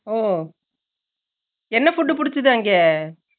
ஒ என்ன food புடிச்சது அங்க